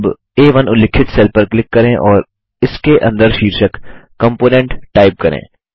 अब आ1 उल्लिखित सेल पर क्लिक करें और इसके अंदर शीर्षक कंपोनेंट टाइप करें